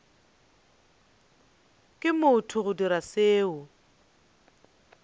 ke motho go dira seo